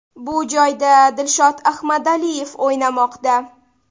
Bu joyda Dilshod Ahmadaliyev o‘ynamoqda.